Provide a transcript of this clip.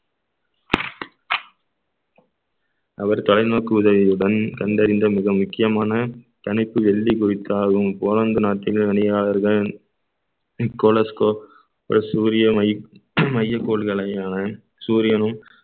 அவர் தொலைநோக்கு உதவியுடன் கண்டறிந்த மிக முக்கியமான தனித்து வெள்ளி குறித்து ஆளும் பணியாளர்கள் நிக்கோலஸ்கோப் சூரிய மை~ மையக்கோல்களையான சூரியனும்